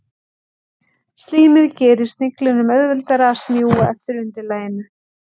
Slímið gerir sniglinum auðveldara að smjúga eftir undirlaginu.